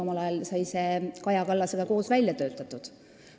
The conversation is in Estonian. Omal ajal sai see koos Kaja Kallasega välja töötatud.